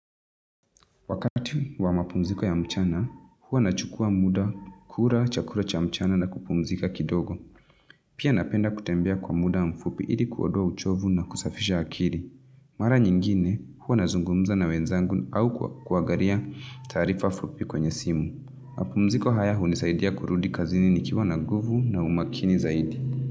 Wakati wa mapumziko ya mchana, huwa nachukua muda, kula, chakula cha mchana na kupumzika kidogo. Pia napenda kutembea kwa muda mfupi ili kuondoa uchovu na kusafisha akili. Mara nyingine, huwa nazungumza na wenzangu au kuangalia taarifa fupi kwenye simu. Mapumziko haya hunisaidia kurudi kazini nikiwa na guvu na umakini zaidi.